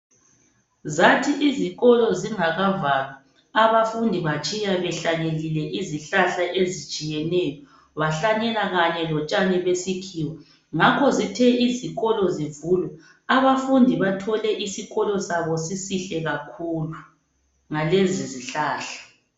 Zathi izikolo zingakavalwa abafundi batshiya behlanyelile izihlahla ezitshiyeneyo ,bahlanyela kanye lotshani besikhiwa ngakho zithe izikolo zivulwa abafundi bathole isikolo sabo sisihle kakhulu ngalezi zihlahla.